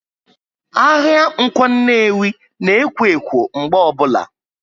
Ahịa Ǹkwọ Nnewi na ekwo ekwo mgbe obula